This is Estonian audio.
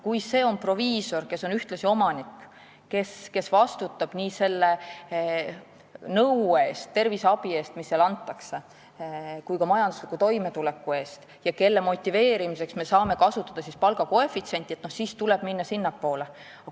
Kui see on proviisor, kes on ühtlasi omanik ja vastutab nii terviseabi ja -nõu eest kui ka majandusliku toimetuleku eest, ning tema motiveerimiseks me saame kasutada palgakoefitsienti, siis tuleb minna sinnapoole.